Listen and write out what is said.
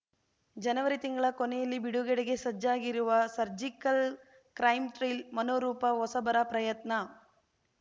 ಜನವರಿ ತಿಂಗಳ ಕೊನೆಯಲ್ಲಿ ಬಿಡುಗಡೆಗೆ ಸಜ್ಜಾಗಿರುವ ಸರ್ಜಿಕಲ್‌ ಕ್ರೈಮ್‌ ಥ್ರಿಲ್ ಮನೋರೂಪ ಹೊಸಬರ ಪ್ರಯತ್ನ